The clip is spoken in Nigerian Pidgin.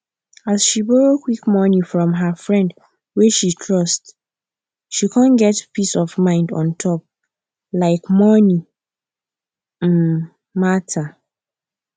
as she borrow quick money from her friend wey she trust she come get peace of mind untop um money um matter